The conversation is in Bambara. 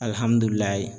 Alihamudulila